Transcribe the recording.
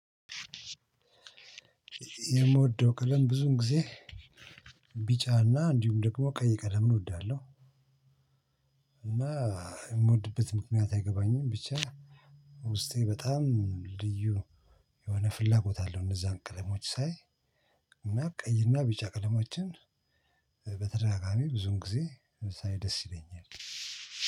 የምወደው ቀለም ብዙውን ጊዜ ቢጫና እንዲሁም ደግሞ ቀይ ቀለም እወዳለሁ። እና የምወድበት ምክንያት አይገባኝም። ብቻ ውስጤ በጣም ልዩ የሆነ ፍላጎት አለው። እነዛን ቀለሞች ሳይ ቀይና ቢጫ ቀለሞችን በተደጋጋሚ ብዙውን ጊዜ ሳይ ደስ ይለኛል።